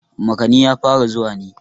makani ya fara zuwa ne